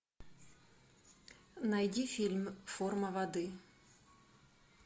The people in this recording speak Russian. найди фильм форма воды